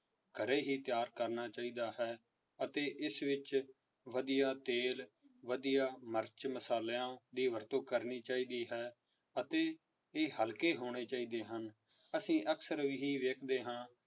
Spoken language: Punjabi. ਘਰੇ ਹੀ ਤਿਆਰ ਕਰਨਾ ਚਾਹੀਦਾ ਹੈ ਅਤੇ ਇਸ ਵਿੱਚ ਵਧੀਆ ਤੇਲ, ਵਧੀਆ ਮਿਰਚ ਮਸ਼ਾਲਿਆਂ ਦੀ ਵਰਤੋਂ ਕਰਨੀ ਚਾਹੀਦੀ ਹੈ ਅਤੇ ਇਹ ਹਲਕੇ ਹੋਣੇ ਚਾਹੀਦੇ ਹਨ ਅਸੀਂ ਅਕਸਰ ਇਹੀ ਵੇਖਦੇ ਹਾਂ